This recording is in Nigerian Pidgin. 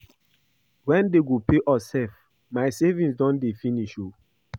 Wen dey go pay us sef my savings don dey finish oo